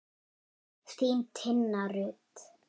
Þín, Tinna Rut.